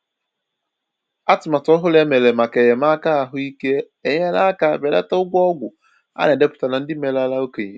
Atụmatụ ọhụrụ e mere maka enyémàkà ahụ́ íké enyela aka belata ụgwọ ọgwụ a na-edepụtara ndị merela okenye